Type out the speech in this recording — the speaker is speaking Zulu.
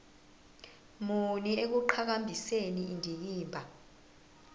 muni ekuqhakambiseni indikimba